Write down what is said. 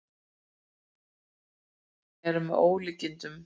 Ummælin eru með ólíkindum